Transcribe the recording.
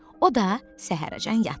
O da səhərəcən yatdı.